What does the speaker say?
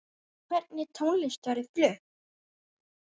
Hvernig tónlist verður flutt?